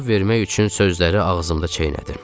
Cavab vermək üçün sözləri ağzımda çeynədim.